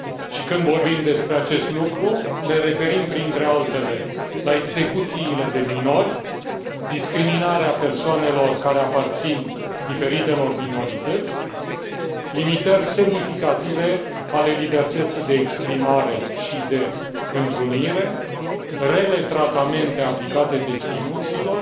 Și când vorbim despre acest lucru ne referim, printre altele, la execuțiile de minori, discriminarea persoanelor care aparțin diferitelor minorități, limitări semnificative ale libertății de exprimare și de întrunire, rele tratamente aplicate deținuților,